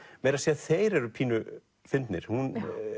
meira að segja þeir eru pínu fyndnir hún